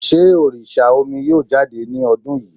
Sé òrìsà omi yóò jáde ni ọdún yìí?